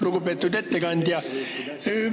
Lugupeetud ettekandja!